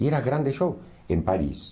E era grande show em Paris.